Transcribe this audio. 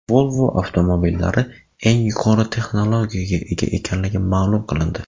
Volvo avtomobillari eng yuqori texnologiyaga ega ekanligi ma’lum qilindi.